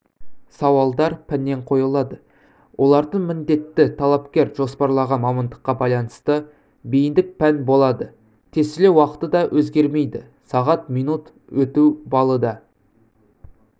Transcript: сауалдар пәннен қойылады олардың міндетті талапкер жоспарлаған мамандыққа байланысты бейіндік пән болады тестілеу уақыты да өзгермейді сағат минут өту балы да